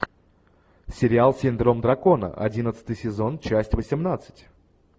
сериал синдром дракона одиннадцатый сезон часть восемнадцать